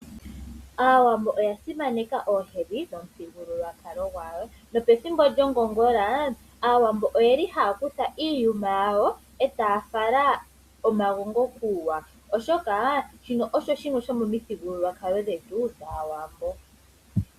Aawambo oya simanekwa oohedhi dhomu thigululwakalo ngwawo, nopethimbo lyongongola aawambo oyeli ha kutha iiyuma yawo taya fala omagongo kuuwa oshoka shino osho shimwe shomo mithigululwakalo dhetu dhawambo.